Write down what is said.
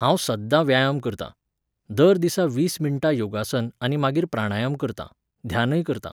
हांव सद्दां व्यायाम करतां. दर दिसा वीस मिण्टां योगासन आनी मागीर प्राणायाम करतां, ध्यानय करतां